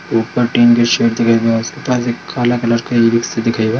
ऊपर टिन के शेड दिखाई दे रहें हैं उसके पास एक काला कलर का दिखेगा।